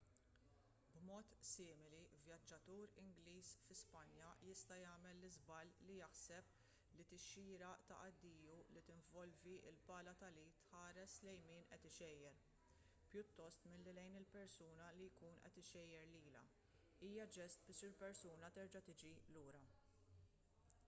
b’mod simili vjaġġatur ingliż fi spanja jista’ jagħmel l-iżball li jaħseb li tixjira ta’ addiju li tinvolvi l-pala tal-id tħares lejn min qed ixejjer pjuttost milli lejn il-persuna li jkun qed ixejjer lilha hija ġest biex il-persuna terġa’ tiġi lura